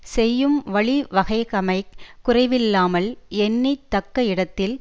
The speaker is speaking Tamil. செய்யும் வழிவகைகமைக் குறைவில்லாமல் எண்ணி தக்க இடத்தில்